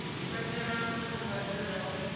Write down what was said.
katelwa kha mbadelo ya u